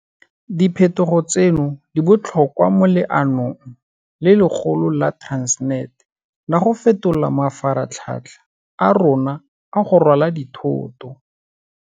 Diphetogo tseno di botlhokwa mo leanong le legolo la Transnet la go fetola mafaratlhatlha a rona a go rwala dithoto.